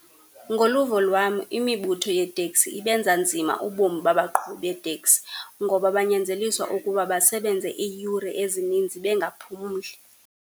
Ngoluvo lwam imibutho yeeteksi ibenza nzima ubomi babaqhubi beeteksi, ngoba banyanzeliswa ukuba basebenze iiyure ezininzi bengaphumli.